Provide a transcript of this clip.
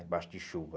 Debaixo de chuva.